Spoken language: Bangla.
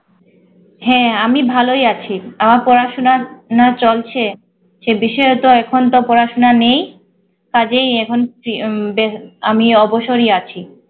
হ্যাঁ আমি ভালোই আছি আমার পড়াশোনার না চলছে ছে বিশেষত এখন তো পড়াশোনা নেই কাজেই এখন বেশ আমি অবসরেই আছি